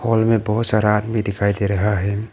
Hall में बहुत सारा आदमी दिखाई दे रहा है।